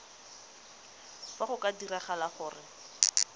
fa go ka diragala gore